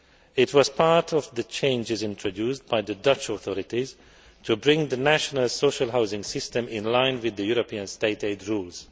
It was part of the changes introduced by the Dutch authorities to bring the national social housing system in line with the European State aid rules.